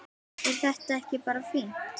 Er þetta ekki bara fínt?